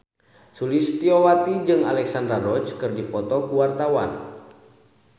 Sulistyowati jeung Alexandra Roach keur dipoto ku wartawan